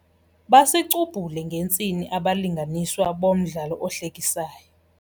Basicubhule ngentsini abalinganiswa bomdlalo ohlekisayo.